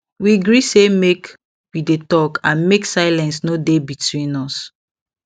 we gree say make we dey talk and make silence no dey between us